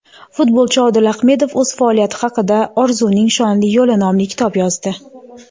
Futbolchi Odil Ahmedov o‘z faoliyati haqida "Orzuning shonli yo‘li" nomli kitob yozdi.